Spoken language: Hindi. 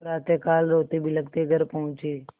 प्रातःकाल रोतेबिलखते घर पहुँचे